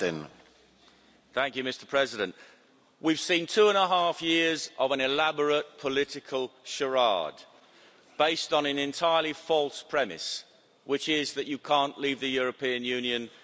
Mr President, we've seen two and a half years of an elaborate political charade, based on an entirely false premise, which is that you can't leave the European Union without a deal.